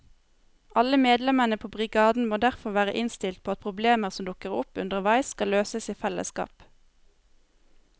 Alle medlemmene på brigaden må derfor være innstilt på at problemer som dukker opp underveis skal løses i fellesskap.